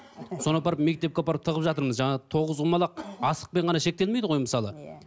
соны апарып мектепке апарып тығып жатырмыз жаңағы тоғызқұмалақ асықпен ғана шектелмейді ғой мысалы